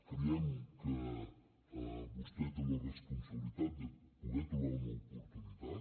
creiem que vostè té la responsabilitat de poder trobar una oportunitat